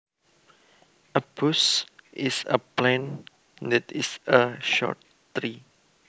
A bush is a plant that is a short tree